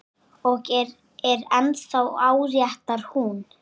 Og er ennþá áréttar hún.